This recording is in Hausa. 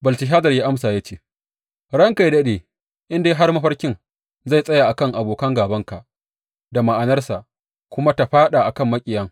Belteshazar ya amsa ya ce, Ranka yă daɗe, in dai har mafarkin zai tsaya a kan abokan gābanka da ma’anarsa kuma ta faɗa kan maƙiyan!